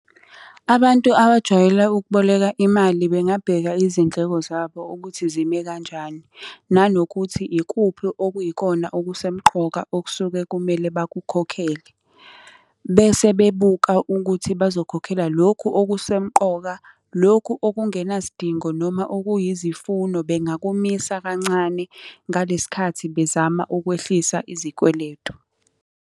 Abantu abajwayele ukuboleka imali bengabheka izindleko zabo ukuthi zime kanjani, nanokuthi ikuphi okuyikona okusemqoka okusuke kumele bakukhokhele. Bese bebuka ukuthi bazokhokhela lokhu okusemqoka, lokhu okungenasidingo noma okuyizifuno bengakumisa kancane ngale sikhathi bezama ukwehlisa izikweletu.